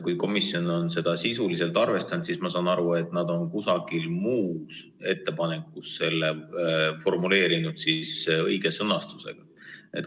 Kui komisjon on seda ettepanekut sisuliselt arvestanud, siis ma saan aru, et nad on kusagil selle formuleerinud õige sõnastusega.